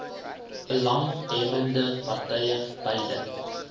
belanghebbbende partye beide